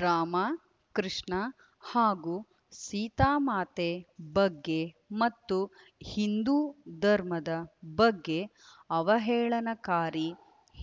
ರಾಮ ಕೃಷ್ಣ ಹಾಗೂ ಸೀತಾಮಾತೆ ಬಗ್ಗೆ ಮತ್ತು ಹಿಂದೂ ಧರ್ಮದ ಬಗ್ಗೆ ಅವಹೇಳನಕಾರಿ